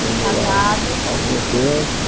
Ficamos lá Casados Algum tempo.